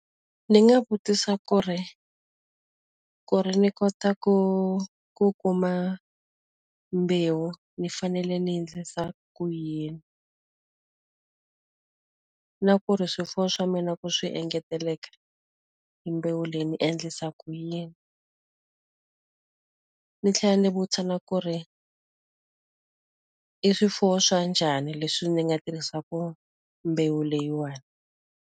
Ndzi nga vutisa ku ri ku ri ni kota ku ku kuma mbewu ndzi fanele ndzi endlisa ku yini? Na ku ri swifuwo swa mina ku swi engeteleka, hi mbewu leyi ndzi endlisa ku yini? Ndzi tlhela ndzi vutisa na ku ri i swifuwo swa njhani leswi ndzi nga tirhisaka mbewu leyiwani?